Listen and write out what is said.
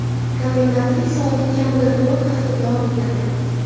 Komendantlik soati kamida to‘rt hafta davom etadi.